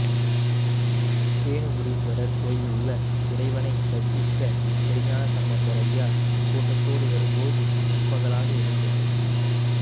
தேனுபுரீஸ்வரர் கோயிலுள்ள இறைவனை தரிசிக்க திருஞானசம்பந்தர் அடியார் கூட்டத்தோடு வரும்போது நண்பகலாக இருந்தது